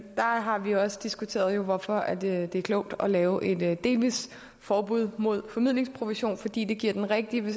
har vi jo også diskuteret hvorfor det er klogt at lave et delvist forbud mod formidlingsprovision fordi det giver den rigtige